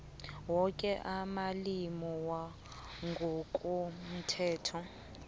woke amalimi wangokomthetho